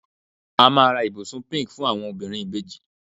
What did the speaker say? a ma ra ibusun pink fún àwọn obìnrin ibeji